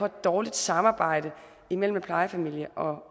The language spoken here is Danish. dårligt samarbejde imellem en plejefamilie og